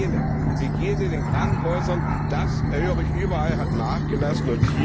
Die Hygiene in den Krankenhäusern das höre ich überall hat nachgelassen.